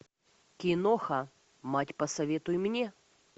киноха мать посоветуй мне